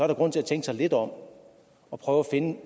der grund til tænkt sig lidt om og prøve at finde